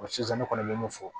sisan ne kɔni be mun fɔ